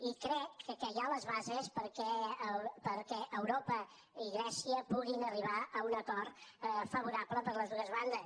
i crec que hi ha les bases perquè europa i grècia puguin arribar a un acord favorable per a les dues bandes